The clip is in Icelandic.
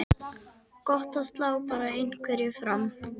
Gott að slá bara einhverju fram.